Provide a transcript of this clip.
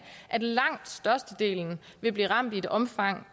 at langt størstedelen vil bliver ramt i et omfang